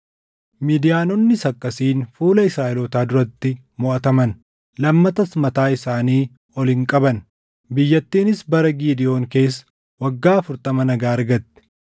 Midiyaanonnis akkasiin fuula Israaʼelootaa duratti moʼataman; lammatas mataa isaanii ol hin qabanne. Biyyattiinis bara Gidewoon keessa waggaa afurtama nagaa argatte.